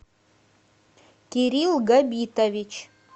кирилл габитович